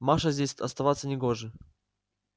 маше здесь оставаться не гоже